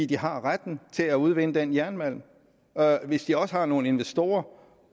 de har retten til at udvinde den her jernmalm og hvis de så også har nogle investorer